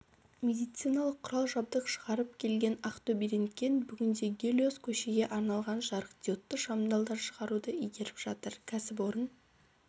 медициналық құрал-жабдық шығарып келген ақтөберентген бүгінде гелиос көшеге арналған жарықдиодты шамдалдар шығаруды игеріп жатыр кәсіпорын